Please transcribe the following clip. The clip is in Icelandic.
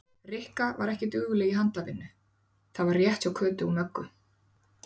Rikka var ekki dugleg í handavinnu, það var rétt hjá Kötu og Möggu.